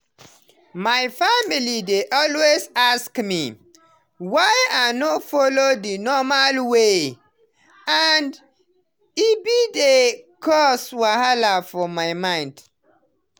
my family dey always ask me, why i no follow the normal way and e be dey cause wahala for my mind.